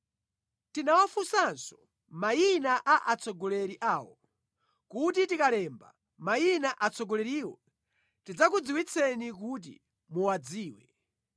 Tinawafunsanso mayina a atsogoleri awo, kuti tikalemba mayina atsogoleriwo tidzakudziwitseni kuti muwadziwe.